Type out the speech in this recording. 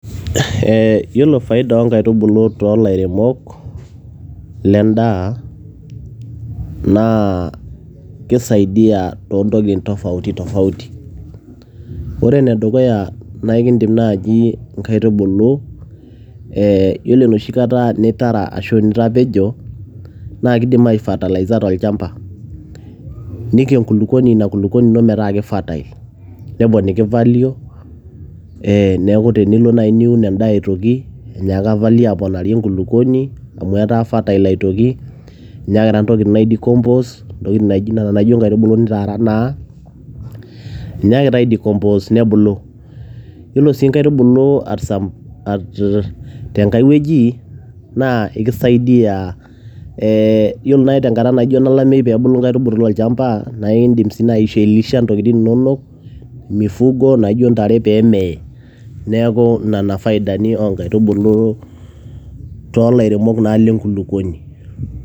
Eh yiolo faida onkaitubulu tolaremok, ledaa, naa kisaidia tontokiting' tofauti tofauti. Ore enedukuya, na ekidiim nai nkaitubulu eh yiolo enoshi kata nitara ashu nitapejo, na kiidim aifatalaiza tolchamba. Niko enkulukuoni ina kulukuoni ino metaa ke fertile. Neponiki value ,eh neeku tenilo nai niun endaa aitoki, enyeaka value aponari enkulukuoni, amu etaa fertile aitoki. Enyaakita intokiting' ai decompose ,intokiting' naijo nena ijo nkaitubulu nitaara naa, enyaakita ai decompose nebulu. Yiolo si nkaitubulu at some tenkaiwoji, naa ekisaidia eh yiolo nai tenkata naijo enalameyu pebulu inkaitubulu tolchamba, na idim si nai ailisha intokiting' inonok, mifugo naijo ntare pemee. Neeku nena faidani onkaitubulu tolairemok naa lenkulukuoni.